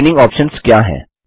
training options क्या हैं